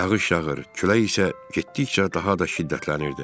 Yağış yağır, külək isə getdikcə daha da şiddətlənirdi.